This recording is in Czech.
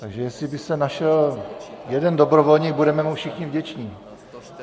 Takže jestli by se našel jeden dobrovolník, budeme mu všichni vděční.